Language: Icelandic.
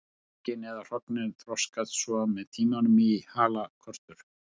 Eggin eða hrognin þroskast svo með tímanum í halakörtur.